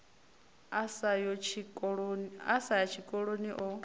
a sa yi tshikoloni o